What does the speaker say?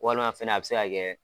Walima fɛnɛ a bɛ se ka kɛ